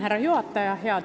Härra juhataja!